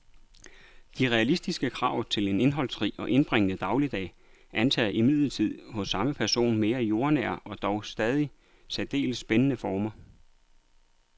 De realistiske krav til en indholdsrig og indbringende dagligdag antager imidlertid hos samme person mere jordnære og dog stadig særdeles spændende former.